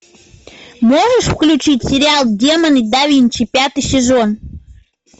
можешь включить сериал демоны да винчи пятый сезон